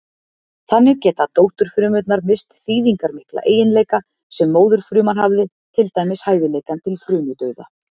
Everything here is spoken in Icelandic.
Þannig geta dótturfrumurnar misst þýðingarmikla eiginleika sem móðurfruman hafði, til dæmis hæfileikann til frumudauða.